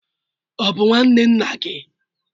Ọ bụ nwanne nna gị?